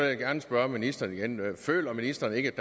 jeg gerne spørge ministeren igen føler ministeren ikke